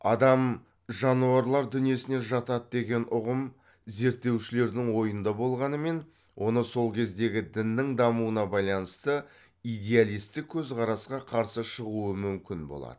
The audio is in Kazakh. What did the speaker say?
адам жануарлар дүниесіне жатады деген ұғым зерттеушілердің ойында болғанымен оны сол кездегі діннің дамуына байланысты идеалистік көзқарасқа қарсы шығуы мүмкін болады